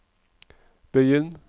begynn